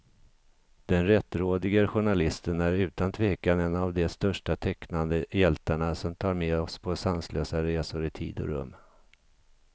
Den rättrådige journalisten är utan tvekan en av de största tecknade hjältarna, som tar med oss på sanslösa resor i tid och rum.